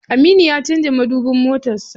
Aminu ya canza madubin motar sa.